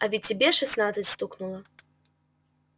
а ведь тебе шестнадцать стукнуло